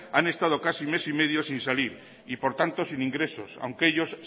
han estado casi mes y medio sin salir y por tanto sin ingresos aunque ellos